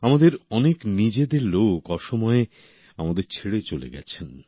আমাদের অনেক নিজেদের লোক অসময়ে আমাদের ছেড়ে চলে গেছেন